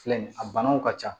Filɛ nin ye a banaw ka ca